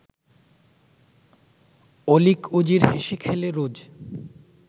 অলীক উজির হেসে-খেলে রোজ